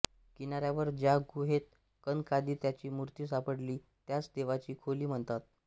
किनाऱ्यावर ज्या गुहेत कनकादित्याची मूर्ती सापडली त्यास देवाची खोली म्हणतात